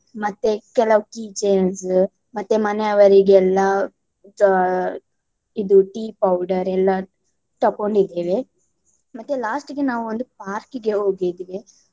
ಮತ್ತೆ ಕೆಲವು key chains ಮತ್ತೆ ಮನೆಯವರಿಗೆಲ್ಲ ಆಹ್ ಇದು tea powder ಎಲ್ಲ ತಕೊಂಡಿದ್ದೇವೆ. ಮತ್ತೆ last ಗೆ ನಾವು ಒಂದು park ಗೆ ಹೋಗಿದ್ವಿ.